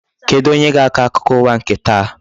Kedụ onye ga-akọ akụkọ ụwa nke taa?